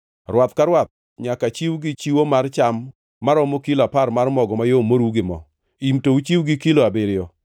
Rwath ka rwath nyaka chiw gi chiwo mar cham maromo kilo apar mar mogo mayom moruw gi mo; im to uchiw gi kilo abiriyo;